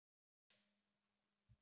Í Reykjavík eru bæði falleg og ljót hús.